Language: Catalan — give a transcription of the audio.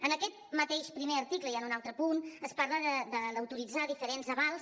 en aquest mateix primer article i en un altre punt es parla d’autoritzar diferents avals